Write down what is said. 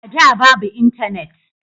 A da babu intanet